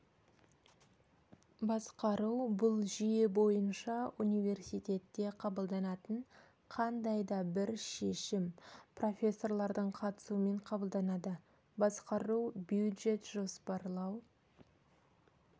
басқару бұл жүйе бойынша университетте қабылданатын қандайда бір шешім профессорлардың қатысуымен қабылданады басқару бюджет жоспарлау